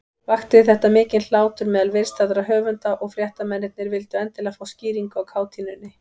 Vakti þetta mikinn hlátur meðal viðstaddra höfunda, og fréttamennirnir vildu endilega fá skýringu á kátínunni.